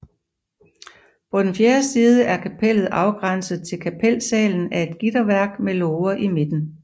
På den fjerde side er kapellet afgrænset til kapelsalen af et gitterværk med låger i midten